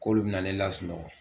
K'olu be na ne lasunɔgɔ